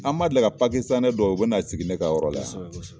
An man deli ka dɔw ye o bɛ n'a sigi ne ka yɔrɔ la wa kosɛbɛ kosɛbɛ.